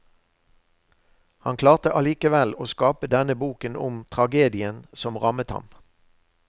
Han klarte allikevel å skape denne boken om tragedien som rammet ham.